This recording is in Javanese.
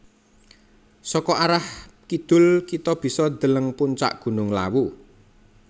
Saka arah kidul kita bisa deleng puncak gunung Lawu